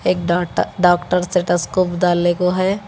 एक doctor stethoscope डालने के हो।